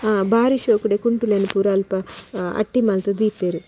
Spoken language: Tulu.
ಹಾ ಬಾರಿ ಶೋಕುದ ಕುಂಟುಲೆನ್ ಪೂರ ಅಲ್ಪ ಅಟ್ಟಿ ಮಲ್ತ್ ದೀತೆರ್.